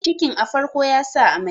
cikin a farko ya sa amai